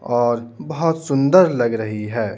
और बहुत सुंदर लग रही है।